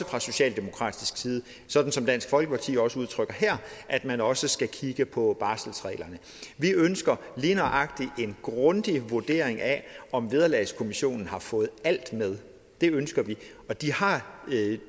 fra socialdemokratisk side sådan som dansk folkeparti også udtrykker her at man også skal kigge på barselsreglerne vi ønsker lige nøjagtig en grundig vurdering af om vederlagskommissionen har fået alt med det ønsker vi og de har